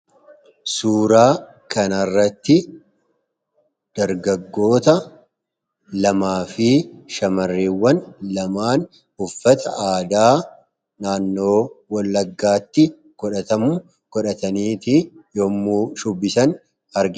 Suuraa kana irratti kan mul'atu dargaggoota lamaa fi shamarran lama uffata aadaa Oromoo Wallaggaa uffatanii shubbisaa kan jiran kan mul'isuu dha.